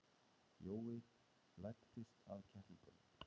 Jói læddist að kettlingunum.